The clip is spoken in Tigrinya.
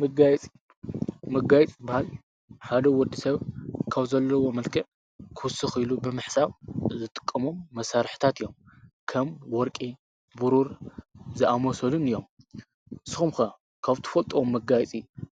መጋየፂ፡- መጋየፂ ዝባሃል ሓደ ወዲ ሰብ ካብ ዘለዎ መልክዕ ክውስክ ኢሉ ብምሕሳብ ዝጥቅሞም መሳርሒታት እዮም። ከም ወርቂ ፣ቡሩር ዝኣምሰሉን እዮም። ንስኹም ከ ካብ እትፈልጥዎም መጋየፂ